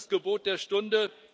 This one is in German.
Das ist das Gebot der Stunde.